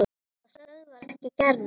Það stöðvar ekki Gerði.